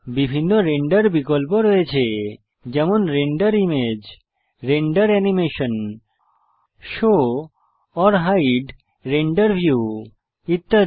বিভিন্ন রেন্ডার বিকল্প আছে যেমন render image render animation show or hide render view ইত্যাদি